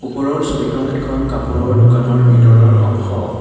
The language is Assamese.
ওপৰৰ ছবিখন এখন কাপোৰৰ দোকানৰ ভিতৰৰ অংশ।